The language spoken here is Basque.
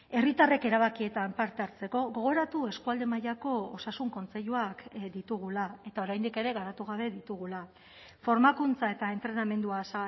herritarrek erabakietan parte hartzeko gogoratu eskualde mailako osasun kontseiluak ditugula eta oraindik ere garatu gabe ditugula formakuntza eta entrenamendua